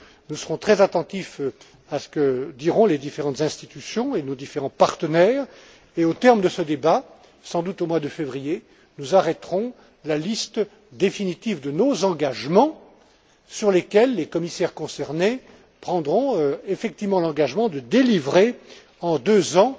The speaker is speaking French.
Nous serons très attentifs à ce que diront les différentes institutions et nos différents partenaires, et au terme de ce débat, sans doute au mois de février, nous arrêterons la liste définitive de nos engagements, sur lesquels les commissaires concernés prendront effectivement l'engagement de délivrer, en deux